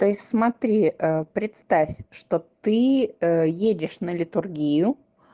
то есть смотри представь что ты едешь на литургию